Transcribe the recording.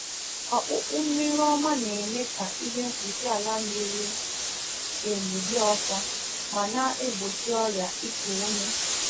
Ụzọ ọwa mmiri na um eme mmiri ọñụñụ ụmụ ọkụkọ